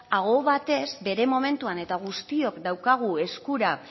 aho batez bere momentuan eta guztiok daukagu eskura